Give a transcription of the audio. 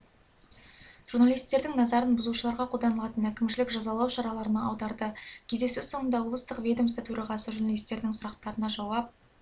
журналистердің назарын бұзушыларға қолданылатын әкімшілік жазалау шараларына аударды кездесу соңында облыстық ведомства төрағасы журналисттердің сұрақтарына жауап